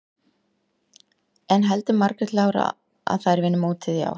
En heldur Margrét Lára að þær vinni mótið í ár?